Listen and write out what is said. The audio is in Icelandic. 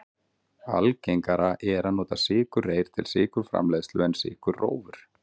Algengara er að nota sykurreyr til sykurframleiðslu en sykurrófur.